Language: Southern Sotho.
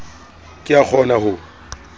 ke ke a kgona ho